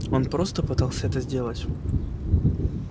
он просто пытался это сделать